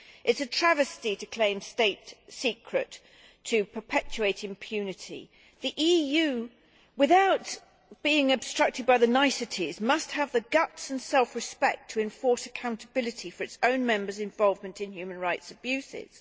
It is a travesty to claim state secrecy in order to perpetuate impunity. The EU, without being obstructed by the niceties, must have the guts and self respect to enforce accountability for its own Members' involvement in human rights abuses.